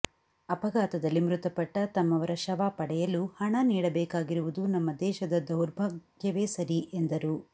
ಅಪಘಾತದಲ್ಲಿ ಮೃತಪಟ್ಟ ತಮ್ಮವರ ಶವ ಪಡೆಯಲು ಹಣ ನೀಡಬೇಕಾಗಿರುವುದು ನಮ್ಮ ದೇಶದ ದೌರ್ಭಾಗ್ಯವೇ ಸರಿ ಎಂದರು